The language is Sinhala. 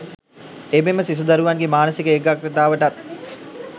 එමෙන්ම සිසු දරුවන්ගේ මානසික ඒකාග්‍රතාවටත්